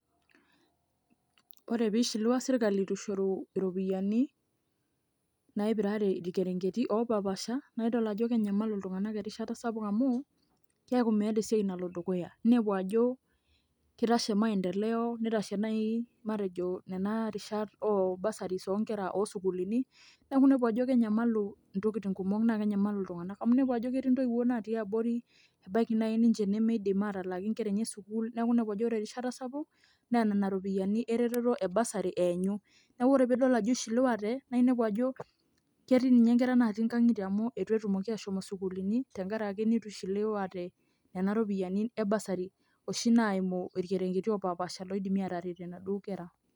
Ore pee ishiliwa sirkali itu ishoru iropiyiani naipirare irrkerengeti oopaashipaasha naa idol ajo kenyamalu iltung'anak erishata sapuk amu keeku meeta esiai nalo dukuya ninepu ajo kitashe maendeleo nitashe naai matejo nena rishat oo bursaries oonkera oosukuuluni, neeku inepu ajo kenyamalu intokitin kumok naa kenyamalu iltung'anak amu inepu ajo ketii ntoiwuo naatii abori ebaiki naai ninche nemeidim aatalaaki nkera enye sukuul neeku inepu ajo ore erishata sapuk naa nena ropiyiani ereteto e bursary eenyu neeku ore piidol ajo ishiliwate naa inepu ajo ketii ninye nkera naatii nkang'itie amu itu etumoki ashomo isukuulini tenkaraki nishiliwate nena ropiyiani e bursary oshi naimu irkerengeti opaashipaasha oidimi aataretie inaduo kera.